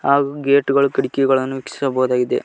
ಹಾಗು ಗೇಟ್ ಗಳ್ ಕಿಟಕಿಗಳನ್ನು ವೀಕ್ಷಿಸಬಹುದಾಗಿದೆ.